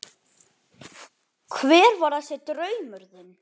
Hver var þessi draumur þinn?